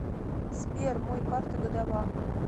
сбер мой карта гадова